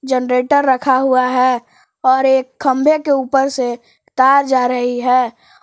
Generator रखा हुआ है और एक खंभे के ऊपर से तार जा रही है।